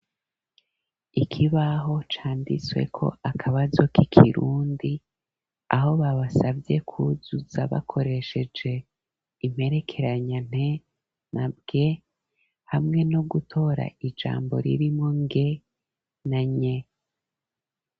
Ikibaho candisweko akabazo k'ikirundi ,aho babasavye kuzuza bakoresheje imperekeranya ,nte na bwe, hamwe no gutora ijambo ririmo nge na nye.